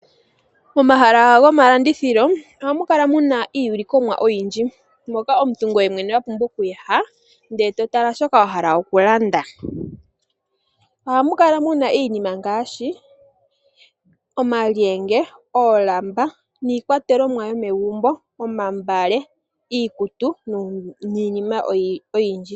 Pomahala gomalandithilo ohamu kala muna iiyulikomwa oyindji moka omuntu ngoye mwene wa pumbwa oku ya ndele e to tala shoka wa hala oku landa. Ohamu kala muna iinima ngaashi omalyenge, oolamba, iikwatelomwa yomegumbo, omagala, iikutu niinima oyindji.